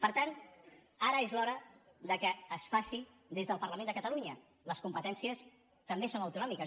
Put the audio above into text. per tant ara és l’hora que es faci des del parlament de catalunya les competències també són autonòmi·ques